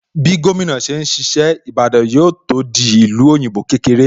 Bí gómìnà ṣe ń ṣiṣẹ́, Ìbàdàn yóò tó di ìlú òyìnbó kékeré